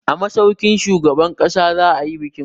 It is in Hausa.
A masaukin shugaban ƙasa za a yi bikin.